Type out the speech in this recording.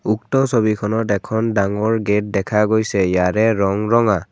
উক্ত ছবিখনত এখন ডাঙৰ গেট দেখা গৈছে ইয়াৰে ৰঙ ৰঙা।